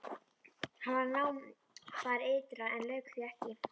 Hann var við nám þar ytra en lauk því ekki.